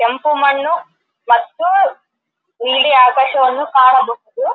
ಕೆಂಪು ಮಣ್ಣು ಮತ್ತು ನೀಲಿ ಆಕಾಶವನ್ನು ಕಾಣಬಹುದು--